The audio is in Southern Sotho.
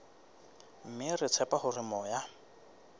mme re tshepa hore moya